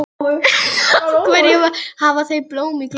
Af hverju hafa þau blóm í gluggunum?